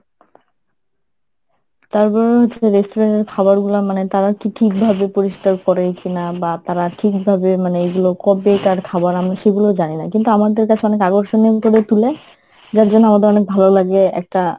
তারপরেও যে restaurant এর খাবারগুলা মানে তারা কি ঠিক ভাবে পরিষ্কার করে কিনা বা তারা ঠিকভাবে মানে এইগুলা কবেকার খাবার আমি সেগুলো জানিনা কিন্তু আমাদের কাছে অনেক আকর্ষণীয় করে তুলে যার জন্য আমাদের ভালোলাগে একটা